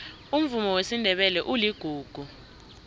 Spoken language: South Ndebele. umvumo wesindebele uligugu